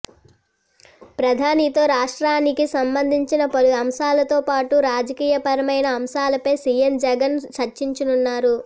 ప్రధానితో రాష్ట్రానికి సంబంధించిన పలు అంశాలతో పాటు రాజకీయపరమైన అంశాలపై సీఎం జగన్ చర్చించనున్నారు